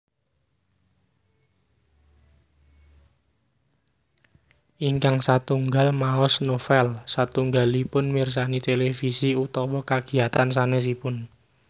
Ingkang satunggal maos novel satunggalipun mirsani televisi utawa kagiyatan sanésipun